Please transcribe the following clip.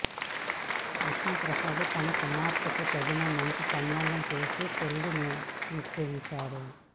విష్ణు ప్రసాద్ తన కుమార్తెకు తగిన మంచి సంబంధం చూసి పెళ్లి నిశ్చియించాడు